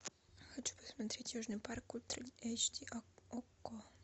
хочу посмотреть южный парк ультра эйч ди окко